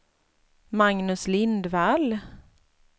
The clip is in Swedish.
Magnus Lindvall